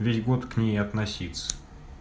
весь год к ней относиться